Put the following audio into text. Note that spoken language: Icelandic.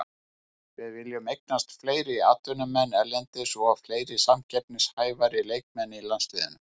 Við viljum eignast fleiri atvinnumenn erlendis og fleiri samkeppnishæfari leikmenn í landsliðinu.